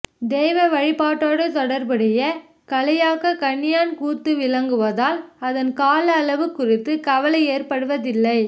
தெய்வ வழிபாட்டோடு தொடர்புடைய கலையாகக் கணியான் கூத்து விளங்குவதால் அதன் கால அளவு குறித்த கவலை ஏற்படுவதில்லை